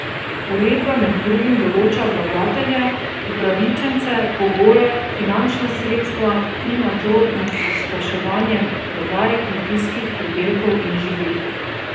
Uredba med drugim določa vlagatelje, upravičence, pogoje, finančna sredstva in nadzor nad pospeševanjem prodaje kmetijskih pridelkov in živil.